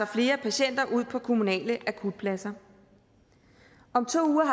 flere patienter ud på kommunale akutpladser om to uger